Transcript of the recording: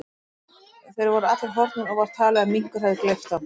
Þeir voru allir horfnir og var talið að minkur hefði gleypt þá.